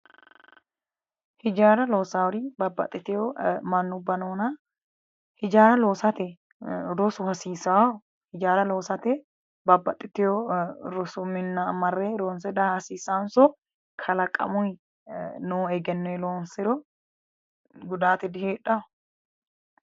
Hijaara loossawori babbaxxitewo mannubba noona hijaara loosate rosu hasiisawo hijaara loosate babbaxxitewo rosu minna marre ronse daa hasiissawonso kalaqamuyi noo egennoyi loonsiro gudaate diheedhawo